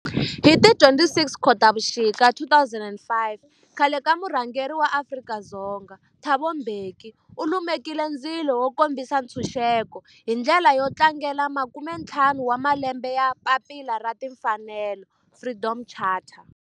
Hi ti 26 Khotavuxika 2005 khale ka murhangeri wa Afrika-Dzonga Thabo Mbeki u lumekile ndzilo wo kombisa ntshuxeko, hi ndlela yo tlangela makume-ntlhanu wa malembe ya papila ra timfanelo, Freedom Charter.